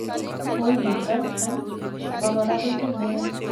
ngoi niton an abakora koibu meet